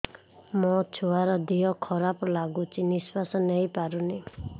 ମୋ ଛୁଆର ଦିହ ଖରାପ ଲାଗୁଚି ନିଃଶ୍ବାସ ନେଇ ପାରୁନି